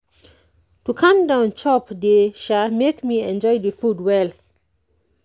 to calm down chop dey [sha] make me enjoy the food well.